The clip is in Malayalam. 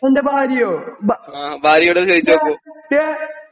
എൻ്റെ ഭാര്യയോ ഭാ ഡിയെ ഡിയേ